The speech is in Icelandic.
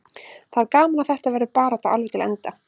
Það er gaman að þetta verður barátta alveg til enda.